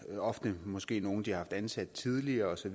ofte måske nogen de har haft ansat tidligere osv